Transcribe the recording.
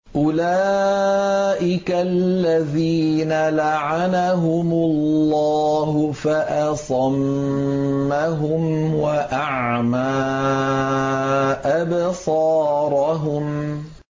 أُولَٰئِكَ الَّذِينَ لَعَنَهُمُ اللَّهُ فَأَصَمَّهُمْ وَأَعْمَىٰ أَبْصَارَهُمْ